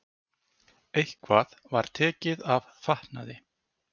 Eitthvað var tekið af fatnaði